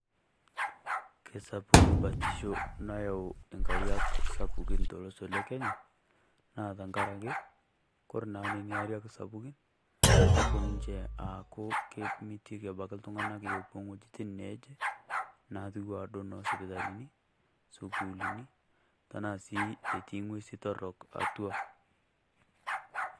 Kesapuk batisho nayau engariak sapukin tolosho lekenya naa tengaraki ore naa Nena ariak sapukin nepuo ninche aaku kemitiki iltung'anak epuo ewuejitin naaje natiu enaa sipitalini, sukuuluni tenaa sii etii eng'usi torrok atwa.